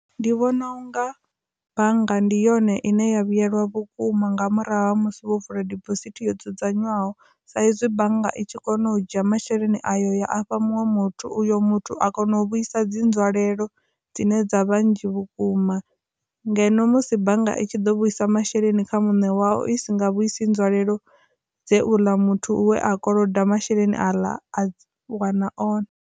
Ndi vhona unga bannga ndi yone ine ya vhuyelwa vhukuma nga murahu ha musi vho vula dibosithi yo dzudzanywaho sa izwi bannga i tshi kona u dzhia masheleni ayo ya afha muṅwe muthu uyo muthu a kone u vhuisa dzi nzwalelo dzine dza vhanzhi vhukuma, ngeno musi bannga i tshi ḓo vhuisa masheleni kha muṋe wayo i si nga vhuisi nzwalelo dze u ḽa muthu we a koloda masheleni aḽa a wana one.